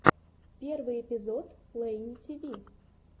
первый эпизод лейни тиви